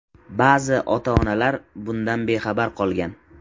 Ba’zi ota-onalar bundan bexabar qolgan.